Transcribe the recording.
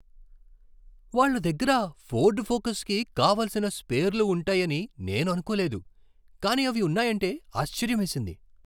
వాళ్ళ దగ్గర ఫోర్డ్ ఫోకస్కి కావలసిన స్పేర్లు ఉంటాయని నేను అనుకోలేదు కానీ అవి ఉన్నాయంటే ఆశ్చర్యమేసింది.